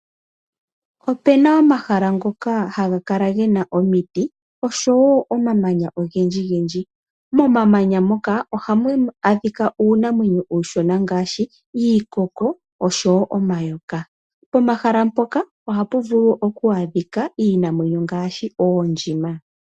Opena omahala ngamwe ngoka hagakala ngena omiti oshowo omamanya ongendji ngendji, komamanya moka ohamu adhika unamwenyo ushona ngashi iikoko oshowo omayoka. Pomahala poka ohapuvulu okwadhika Iinamwenyo ngashi oondjima.